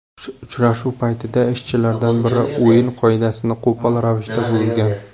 Uchrashuv paytida ishchilardan biri o‘yin qoidasini qo‘pol ravishda buzgan.